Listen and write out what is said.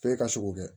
F'e ka se k'o kɛ